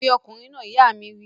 Pe ọkùnrin náà! ìyá mi wí